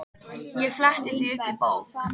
Ég fletti því upp í bók.